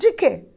De que?